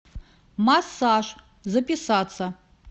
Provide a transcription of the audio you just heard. массаж записаться